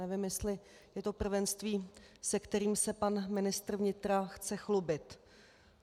Nevím, jestli je to prvenství, se kterým se pan ministr vnitra chce chlubit.